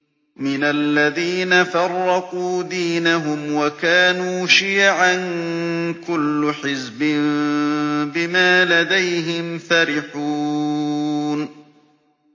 مِنَ الَّذِينَ فَرَّقُوا دِينَهُمْ وَكَانُوا شِيَعًا ۖ كُلُّ حِزْبٍ بِمَا لَدَيْهِمْ فَرِحُونَ